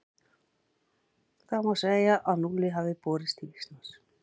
Þá má segja að núllið hafi borist til Íslands.